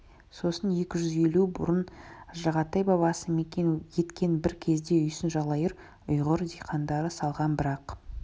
сосын екі жүз елу жыл бұрын жағатай бабасы мекен еткен бір кезде үйсін жалайыр ұйғыр диқандары салған бірақ